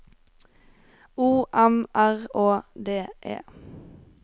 O M R Å D E